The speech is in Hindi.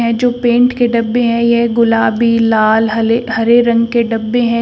जो पेंट के डब्बे हैं यह गुलाबी लाल हले हरे रंग के डब्बे हैं।